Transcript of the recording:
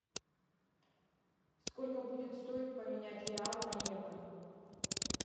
сколько будет стоить поменять реал на евро